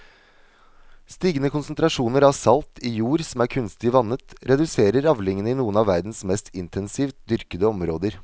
Stigende konsentrasjoner av salt i jord som er kunstig vannet reduserer avlingene i noen av verdens mest intensivt dyrkede områder.